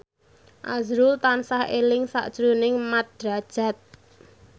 azrul tansah eling sakjroning Mat Drajat